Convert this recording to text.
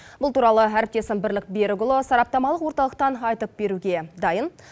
бұл туралы әріптесім бірлік берікұлы сараптамалық орталықтан айтып беруге дайын